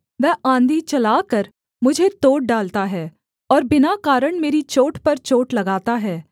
वह आँधी चलाकर मुझे तोड़ डालता है और बिना कारण मेरी चोट पर चोट लगाता है